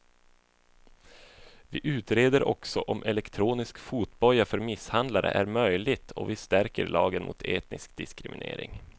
Vi utreder också om elektronisk fotboja för misshandlare är möjligt och vi stärker lagen mot etnisk diskriminering.